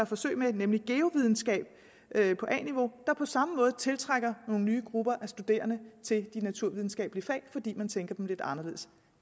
forsøg med nemlig geovidenskab på a niveau tiltrækker på samme måde nye grupper af studerende til de naturvidenskabelige fag fordi man tænker dem lidt anderledes